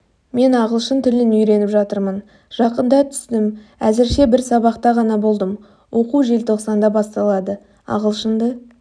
мен ағылшын тілін үйреніп жатырмын жақында түстім әзірше бір сабақта ғана болдым оқу желтоқсанда басталады ағылшынды